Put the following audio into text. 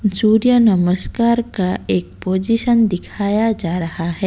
सूर्य नमस्कार का एक पोजीशन दिखाया जा रहा है।